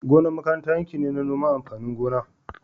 Gonar makaranta yanki ne na noman amfanin gona